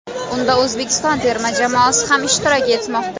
Unda O‘zbekiston terma jamoasi ham ishtirok etmoqda.